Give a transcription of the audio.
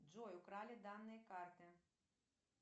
джой украли данные карты